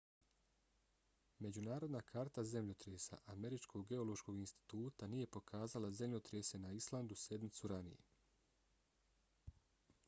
međunarodna karta zemljotresa američkog geološkog instituta nije pokazala zemljotrese na islandu sedmicu ranije